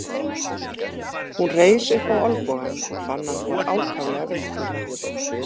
Hún reis upp á olnbogann og fann að hún var ákaflega veikburða.